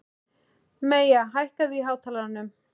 Maya, hækkaðu í hátalaranum.